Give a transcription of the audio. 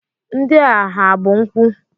Ndị a ha bụ nkwụ?